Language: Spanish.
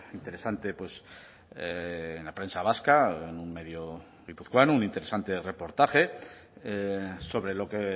interesante en la prensa vasca en un medio guipuzcoano un interesante reportaje sobre lo que